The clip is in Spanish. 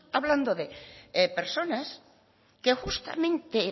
hablando de personas que justamente